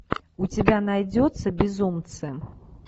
у тебя найдется безумцы